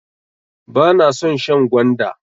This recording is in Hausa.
Bana son shan gwanda.